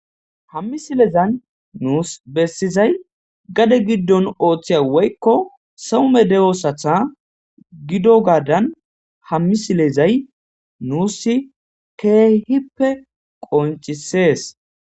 hammi silezan nuus bessizay gade giddon ooththiya woykko soome de7osatha gido gaadan hammi silezay nuus keehippe qoncisees